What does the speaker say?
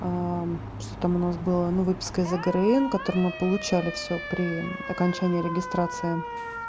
а что там у нас было ну выписка из игры которую мы получали всё при окончании регистрации